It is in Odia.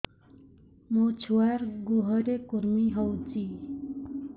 ମୋ ଛୁଆର୍ ଗୁହରେ କୁର୍ମି ହଉଚି